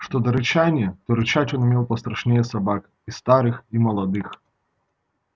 что до рычания то рычать он умел пострашнее собак и старых и молодых